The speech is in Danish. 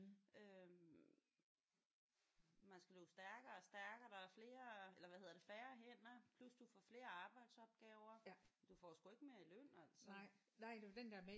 Man skal løbe stærkere og stærkere. Der er flere eller hvad hedder det færre hænder plus du får flere arbejdsopgaver. Du får sgu ikke mere i løn altså